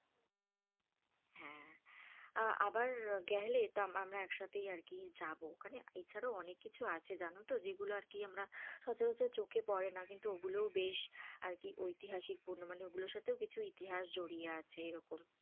আহ আবার গেলে ত~ আমরা একসাথেই আরকি যাবো, ওখানে এছাড়াও অনেক কিছু আছে জানো তো যেগুলো আরকি আমরা সাথে সাথে চোক পড়ে না, কিন্তু ও গুলোও বেশ আরকি ঐতিহাসিক পরিপূর্ণ মানে ঐগুলোর সাথেও কিছু ইতিহাস জড়িয়ে আছে এরকম,